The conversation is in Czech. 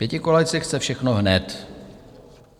Pětikoalice chce všechno hned.